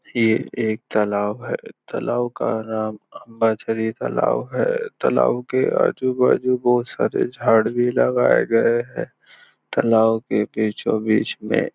ये एक तलाव है तलाव का नाम अंबरसरी तलाव है तलाव के आजूबाजू बहुत सारे झाड़ भी लगाए गए है तलाव के बीचो बीच में --